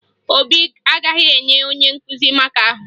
Obi agaghị enye onye nkụzi maka ahụ